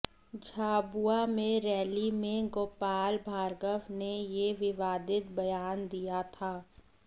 झाबुआ में रैली में गोपाल भार्गव ने ये विवादित बयान दिया था